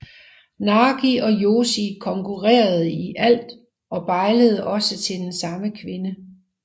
Nagi og Yoshi konkurrerede i alt og bejlede også til den samme kvinde